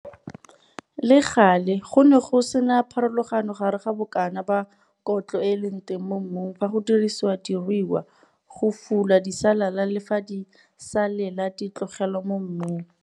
Le gale, go ne go se na pharologano gare ga bokana ba kotlo e e leng teng mo mmung fa go dirisiwa diruiwa go fula disalela le fa disalela di tlogelwa mo mmung.